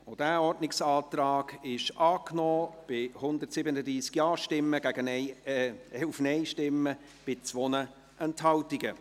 Auch dieser Ordnungsantrag wurde angenommen, mit 137 Ja- gegen 11 Nein-Stimmen bei 2 Enthaltungen.